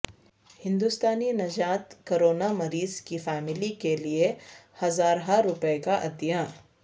ہندوستانی نژاد کورونا مریض کی فیملی کیلئے ہزارہا روپئے کا عطیہ